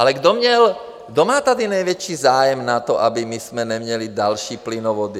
Ale kdo má tady největší zájem na tom, abychom my neměli další plynovody?